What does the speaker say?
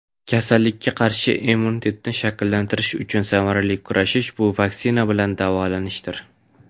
Kasallikka qarshi immunitetni shakllantirish uchun samarali kurash - bu vaksina bilan davolanishdir!.